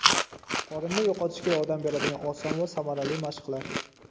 Qorinni yo‘qotishga yordam beradigan oson va samarali mashqlar.